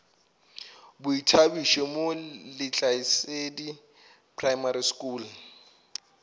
boithabišo mo lehlasedi primary school